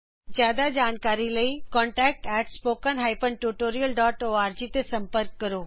ਵਧੇਰੇ ਜਾਣਕਾਰੀ ਲਈ contactspoken tutorialorg ਤੇ ਸੰਪਰਕ ਕਰੋ